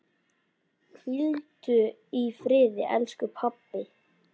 Hvíldu í friði, elsku pabbi.